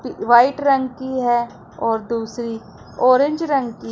white रंग की है और दूसरी ऑरेंज रंग की--